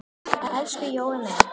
Elsku Jói minn.